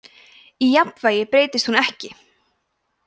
í jafnvægi breytist hún ekki